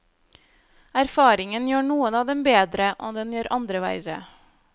Erfaringen gjør noen av dem bedre, og den gjør andre verre.